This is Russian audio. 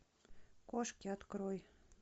кошки открой